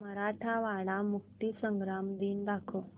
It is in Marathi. मराठवाडा मुक्तीसंग्राम दिन दाखव